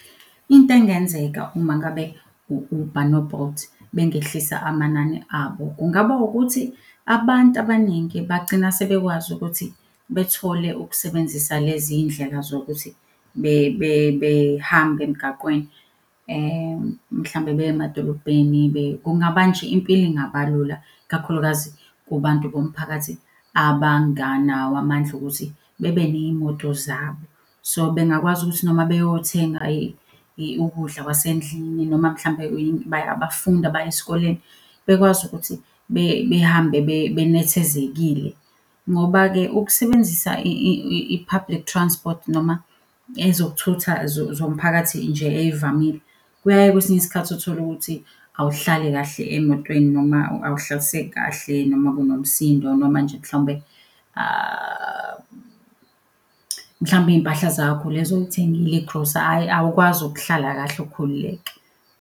Into engenzeka uma ngabe u-Uber no-Bolt bengehlisa amanani abo, kungaba ukuthi abantu abaningi bagcina sebekwazi ukuthi bethole ukusebenzisa lezi iy'ndlela zokuthi behambe emgaqweni. Mhlampe beya emadolobheni, nje impilo ingaba lula ikakhulukazi kubantu bomphakathi abanganawo amandla okuthi bebe ney'moto zabo. So bengakwazi ukuthi noma beyothenga ukudla kwasendlini noma mhlampe abafundi baye sikoleni, bekwazi ukuthi behambe benethezekile. Ngoba-ke ukusebenzisa i-public transport noma ezokuthutha zomphakathi nje ey'vamile, kuyaye kwesinye isikhathi utholukuthi awuhlali kahle emotweni noma awuhlaliseki kahle noma kunomsindo noma nje mhlawumbe mhlawumbe iy'mpahla zakho lezi oy'thengile igrosa. awukwazi ukuhlala kahle ukhululeke.